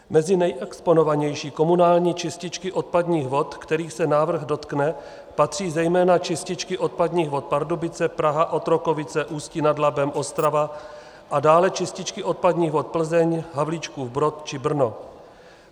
Mezi nejexponovanější komunální čističky odpadních vod, kterých se návrh dotkne, patří zejména čističky odpadních vod Pardubice, Praha, Otrokovice, Ústí nad Labem, Ostrava a dále čističky odpadních vod Plzeň, Havlíčkův Brod či Brno.